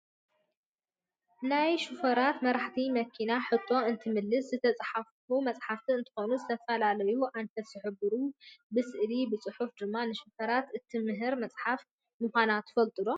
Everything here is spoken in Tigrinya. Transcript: ናይ ሽፌራት /መራሕቲ መኪና/ ሕቶ እትምልስ ዝተፃሓፈት መፃሓፍ እንትከውን ዝተፈላለዩ ኣንፈት ዝሕብሩ ብስዕሊ ብፅሑፍን ድማ ንሽፌራት እትምህር መፃሓፍ ምኳና ትፈልጡ ዶ ?